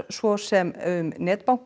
svo sem um